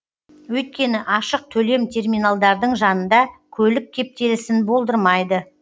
өйткені ашық төлем терминалдардың жанында көлік кептелісін болдырмайды